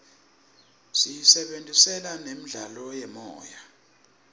siyisebentisela nemidlalo yemoya